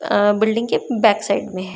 अ building के backside में हैं।